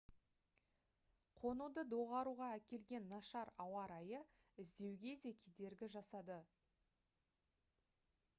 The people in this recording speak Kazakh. қонуды доғаруға әкелген нашар ауа райы іздеуге де кедергі жасады